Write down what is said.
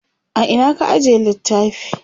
a Ina ka ajiye littafi?